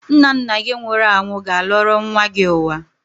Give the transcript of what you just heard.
Nna nna gị nwụrụ anwụ ga-alọrọ nwa gị ụwa.